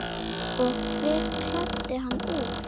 Og hver klæddi hann úr?